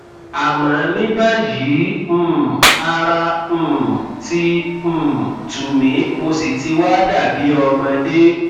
àmọ ní báyìí um ara um ti um tù mí mo sì ti wá dàbí ọmọdé